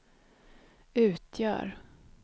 utgör